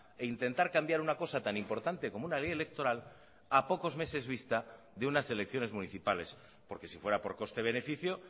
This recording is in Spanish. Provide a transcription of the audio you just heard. e intentar cambiar una cosa tan importante como una ley electoral a pocos meses vista de unas elecciones municipales porque si fuera por coste beneficio